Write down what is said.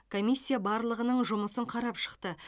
комиссия барлығының жұмысын қарап шықты